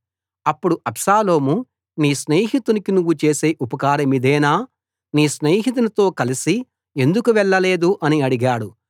అప్పుడు అబ్షాలోము నీ స్నేహితునికి నువ్వు చేసే ఉపకారమిదేనా నీ స్నేహితునితో కలసి ఎందుకు వెళ్ళలేదు అని అడిగాడు